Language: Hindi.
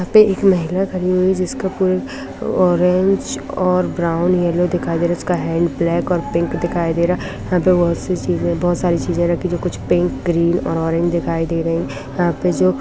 यहाँ पर एक महिला खड़ी हुई है जिसका कोई ऑरेंज और ब्राउन येलो दिखाई दे रहा है इसका हैन्ड ब्लैक और पिंक दिखाई दे रहा है यहाँ पे बहुत सी चीजे बहुत सारी चीजे रखी है जो कुछ पिंक ग्रीन और ऑरेंज दिखाई दे रही है यहाँ पे जो --